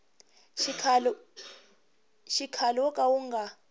xikhale wo ka wu nga